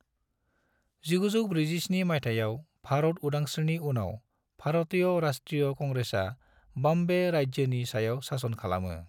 1947 मायथाइयाव भारत उदांस्रिनि उनाव, भारतीय राष्ट्रीय कांग्रेसआ बॉम्बे राज्योनि सायाव शासन खालामो।